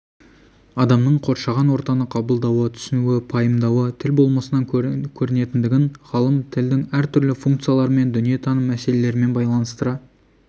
адамның қоршаған ортаны қабылдауы түсінуі пайымдауы тіл болмысынан көрінетіндігін ғалым тілдің әртүрлі функцияларымен дүниетаным мәселелерімен байланыстыра